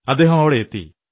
അദ്ദേഹം അവിടെയെത്തി